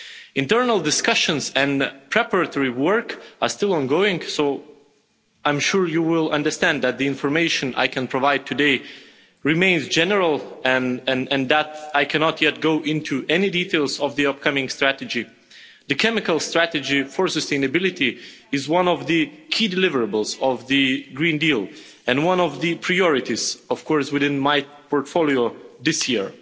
Internal discussions and preparatory work are still ongoing, so I'm sure you will understand that the information I can provide today remains general and that I cannot yet go into any details of the upcoming strategy. The chemical strategy for sustainability is one of the key deliverables of the Green Deal and one of the priorities, of course, within my portfolio this year.